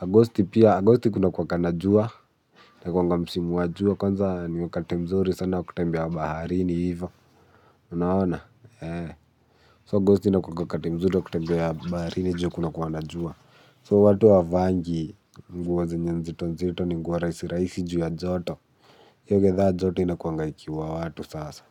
Agosti pia. Agosti kuna kuwanga na jua. Kuna kuwanga msimu wa jua. Kwanza ni wakati mzuri sana kutembea baharini ivo. Unaona, ee. So, aghosti inakuwanga wakati mzuri wa kutembea baharini juu kuna kuwanga na jua. So, watu wavaangi nguo zenye nzito nzito ni nguo rahisi rahisi juu ya joto. hiyo githaa, joto inakuanga ikiua watu sasa.